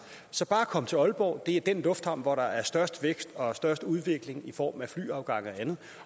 så bare kom til aalborg det er den lufthavn hvor der er størst vækst og størst udvikling i form af flyafgange og andet